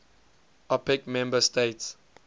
opec member states